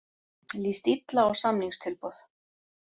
Líst illa á samningstilboð